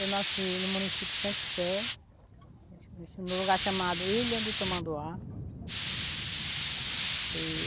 Eu nasci no município de Santo Sé, no lugar chamado Ilha do Tamanduá. E